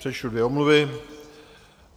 Přečtu dvě omluvy.